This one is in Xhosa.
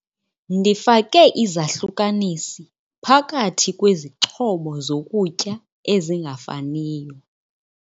Ndifake izahlukanisi phakathi kwezixhobo zokutya ezingafaniyo.